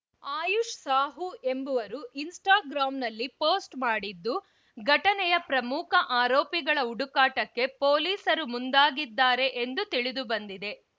ಆಯುಷ್‌ ಸಾಹು ಎಂಬವರು ಇನ್‌ಸ್ಟಾಗ್ರಾಂನಲ್ಲಿ ಪೋಸ್ಟ್‌ ಮಾಡಿದ್ದು ಘಟನೆಯ ಪ್ರಮುಖ ಆರೋಪಿಗಳ ಹುಡುಕಾಟಕ್ಕೆ ಪೊಲೀಸರು ಮುಂದಾಗಿದ್ದಾರೆ ಎಂದು ತಿಳಿದು ಬಂದಿದೆ